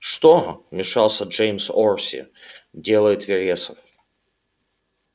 что вмешался джеймс орси делает вересов